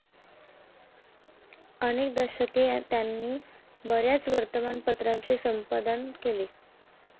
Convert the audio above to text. अनेक दशके त्यांनी बऱ्याच वर्तमानपत्राचे संपादन केले,